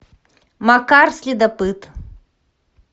макар следопыт